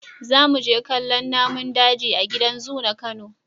Za mu je kallon namun daji a gida zu na Kano.